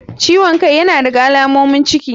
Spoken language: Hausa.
Ciwon kai yana daga alamomin ciki.